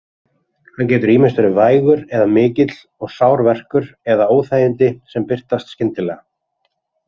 Hann getur ýmist verið vægur eða mikill og sár verkur eða óþægindi sem birtast skyndilega.